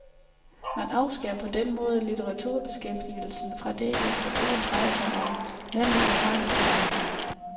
Man afskærer på den måde litteraturbeskæftigelsen fra det, litteraturen drejer sig om, nemlig erfaringsforvaltning.